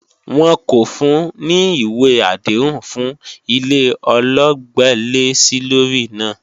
Wọn kò fun ní ìwé àdéhùn fún ilé ọlọ́gbẹ́lẹ́-sílórí náà